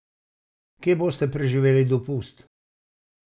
Kje boste preživeli dopust?